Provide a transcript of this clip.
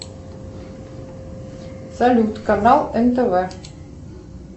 салют канал нтв